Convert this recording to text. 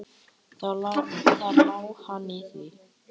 Þar lá hann í því!